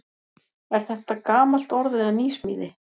Er þetta gamalt orð eða nýsmíði?